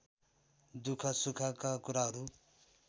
दुःख सुखका कुराहरू